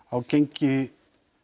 gengi